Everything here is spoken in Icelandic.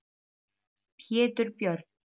Pétur Björn.